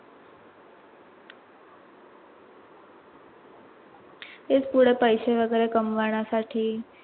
तेच पुढे पैसे वगैरे कमवणांसाठी.